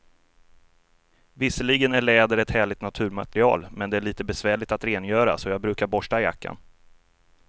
Visserligen är läder ett härligt naturmaterial, men det är lite besvärligt att rengöra, så jag brukar borsta jackan.